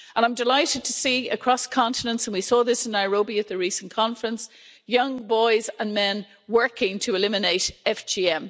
I'm delighted to see across continents and we saw this in Nairobi at the recent conference young boys and men working to eliminate FGM.